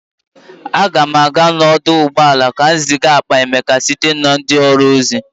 Aga m aga n'ọdụ ụgbọala ka m ziga akpa Emeka site na ndị ọrụ ozi.